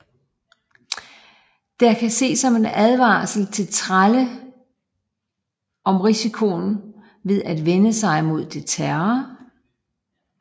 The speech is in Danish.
Det kan ses som en advarsel til trælle om risikoen ved at vende sig mod deres herrer